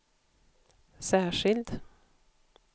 särskild